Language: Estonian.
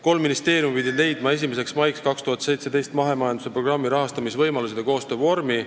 Kolm ministeeriumi pidid leidma 1. maiks 2017 mahemajanduse programmi rahastamise võimalused ja koostöövormi.